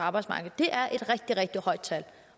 arbejdsmarkedet det er et rigtig rigtig højt tal